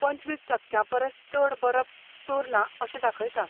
पंचवीस टक्क्यां परस चड बरप चोरलां अशें दाखयता.